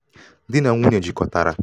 Di na nwunye jikọtara